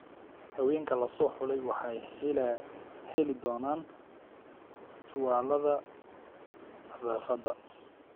Haweenka la soo xulay waxay heli doonaan tuwaalada nadaafadda.